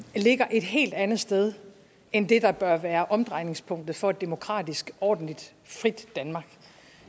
ligger et helt andet sted end det der bør være omdrejningspunktet for et demokratisk ordentligt frit danmark